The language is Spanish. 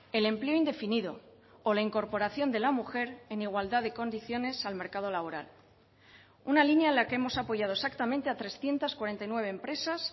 el empleo indefinido o la incorporación de la mujer en igualdad de condiciones al mercado laboral una línea en la que hemos apoyado exactamente a trescientos cuarenta y nueve empresas